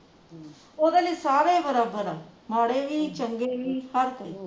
ਓਹਦੇ ਲਈ ਸਾਰੇ ਹੀ ਬਰੋਬਰ ਆ ਮਾੜੇ ਵੀ ਚੰਗੇ ਵੀ ਸਬ ਕੁਛ